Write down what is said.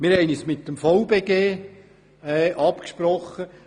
Wir haben uns mit dem Verband bernischer Gemeinden (VBG) abgesprochen.